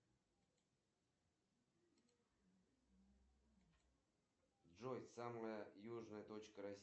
салют это только в россии в летнее время отключают горячую воду или это нормальная практика во всем мире